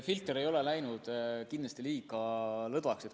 Filter ei ole kindlasti läinud liiga lõdvaks.